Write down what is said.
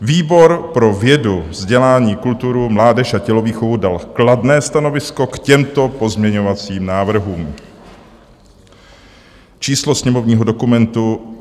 Výbor pro vědu, vzdělání, kulturu, mládež a tělovýchovu dal kladné stanovisko k těmto pozměňovacím návrhům: číslo sněmovního dokumentu